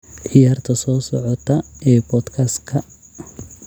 ciyaarta soo socota ee podcast-ka